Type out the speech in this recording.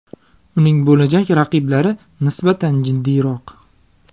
Uning bo‘lajak raqiblari nisbatan jiddiyroq.